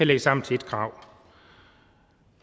det sammen til ét krav